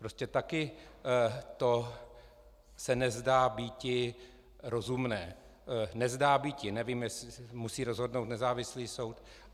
Prostě také se to nezdá býti rozumné - nezdá býti, nevím, jestli musí rozhodnout nezávislý soud.